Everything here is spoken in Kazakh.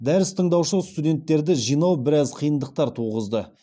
дәріс тыңдаушы студенттерді жинау біраз қиындықтар туғызды